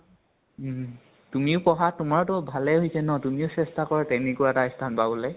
অ । তুমিও পঢ়া, তোমাৰতো ভালে হৈছে ন, তুমিও চেষ্টা কৰা তেনেকুৱা এটা স্থান পাবলৈ।